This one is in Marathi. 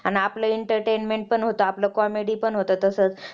आणि आपलं entertainment पण होतं आपलं comedy अन होतं तसचं